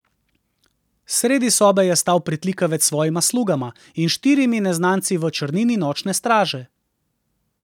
Sredi sobe je stal pritlikavec s svojima slugama in štirimi neznanci v črnini Nočne straže.